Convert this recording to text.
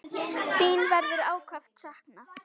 Þín verður ákaft saknað.